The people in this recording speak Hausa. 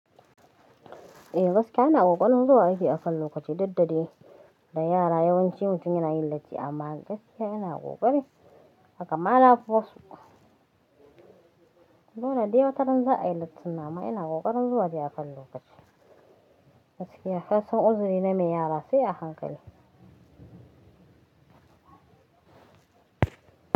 E, gaskiya ina ƙoƙarin zuwa aiki akan lokaci duk da dai da yara yawanci suna yi latti. Amma gaskiya ina ƙoƙari haka ma na fi wasu. Tinda de wataran za a yi lattin nan amma ina ƙoƙarin zuwa dai akan lokacii. Gaskiya kasan uzuri na mai yara sai a hankali.